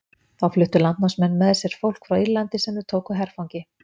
þá fluttu landnámsmenn með sér fólk frá írlandi sem þeir tóku herfangi